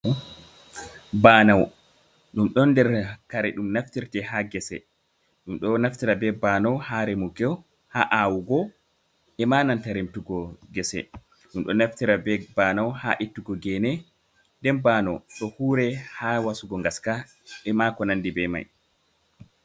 Baanowo ɗum ɗon nder kare ɗum naftirtee haa gese. Ɗum ɗo naftira bee baanowo haa remugo, haa aawugo e maa nanta remtugo gese. Ɗum ɗo naftirta bee baanowo haa ittugo gene. Nden baanowo ɗo huuwiree haa wasugo ngaska, e maa ko nanndi bee may.